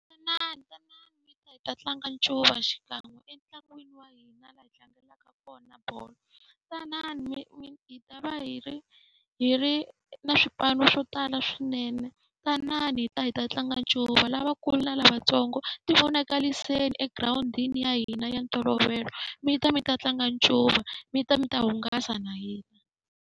Tanani tanani mi ta hi ta tlanga ncuva xikan'we entlangwini wa hina laha hi tlangelaka kona bolo. Tanani [? hi ta va hi ri hi ri na swipano swo tala swinene, tanani mi ta hi ta tlanga ncuva. Lavakulu na lavatsongo tivonakariseni egirawundini ya hina ya ntolovelo, mi ta mi ta tlanga ncuva mi ta mi ta hungasa na hina.